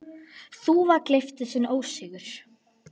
Þúfa gleypti sinn ósigur.